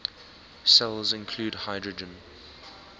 cells include hydrogen